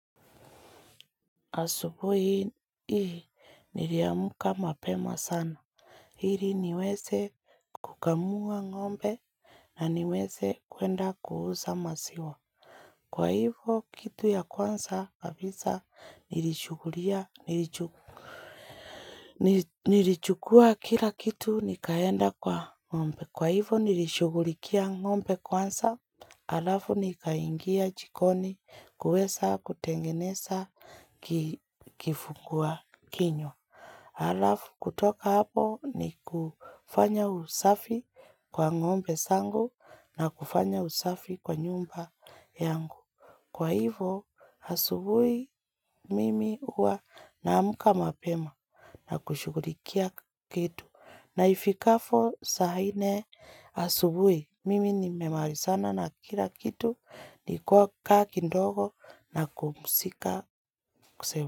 Asubuhi hii niliamka mapema sana ili niweze kukamua ng'ombe na niweze kuenda kuuza maziwa Kwa hivyo kitu ya kwanza kabisa Nilichukua kila kitu nikaenda kwa ng'ombe Kwa hivyo nilishughulikia ng'ombe kwanza halafu nikaingia jikoni kuweza kutengeneza kifungua kinywa halafu kutoka hapo ni kufanya usafi kwa ng'ombe zangu na kufanya usafi kwa nyumba yangu. Kwa hivo asubuhi mimi huwa naamka mapema na kushughulikia kitu na ifikapo saa nne asubuhi mimi nimemalizana na kila kitu ni kukaa kidogo na kupumzika.